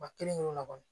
Ba kelen kelen na kɔni